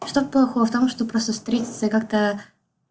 что плохого в том что просто встретиться и как-то